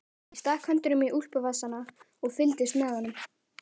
Ég stakk höndunum í úlpuvasana og fylgdist með honum.